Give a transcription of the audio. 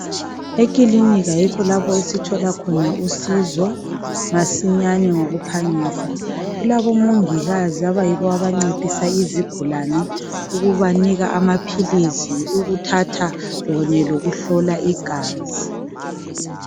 Ekilinika yikho lapho esithola khona usizo masinyane ngokuphangisa .Kulabo mongikazi abayibo abancedisa izigulani ububanika amaphilisi ukuthatha kunye lokuhlola igazi .